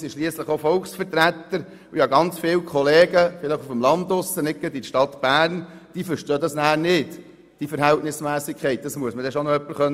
Wir sind schliesslich auch Volksvertreter und ich habe sehr viele Kollegen, vielleicht eher auf dem Land und nicht gerade in der Stadt Bern, die diese Verhältnismässigkeit nicht verstehen.